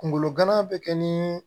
Kunkolo gana bɛ kɛ ni